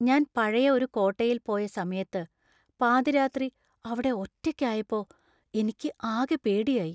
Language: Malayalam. ഞാൻ പഴയ ഒരു കോട്ടയില്‍ പോയ സമയത്ത് പാതിരാത്രി അവിടെ ഒറ്റക്കായപ്പോ എനിക്ക് ആകെ പേടിയായി.